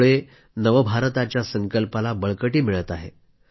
यामुळे नव भारताच्या संकल्पाला बळकटी मिळत आहे